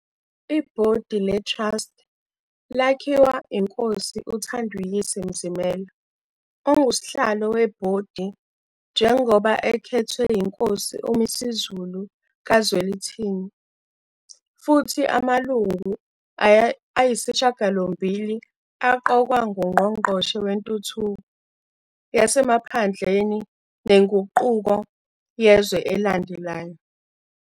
I-Bhodi le-Trust lakhiwa Inkosi uThanduyise Mzimela ongusihlalo weBhodi njengoba ekhethwe yiNkosi uMisuZulu kaZwelithini, futhi amalungu ayisishiyagalombili aqokwa ngUNgqongqoshe Wentuthuko Yasemaphandleni Nenguquko Yezwe alandelayo.